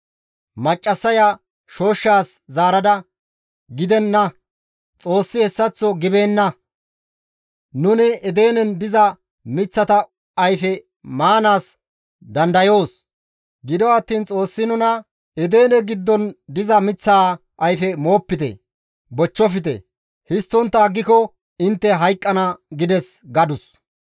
Maccassaya shooshshas zaarada, «Gidenna! Xoossi hessaththo gibeena; nuni Edenen diza miththata ayfe maanaas dandayoos; gido attiin Xoossi nuna, ‹Edene giddon diza miththaa ayfe moopite; bochchofte; histtontta aggiko intte hayqqana› gides» gadus.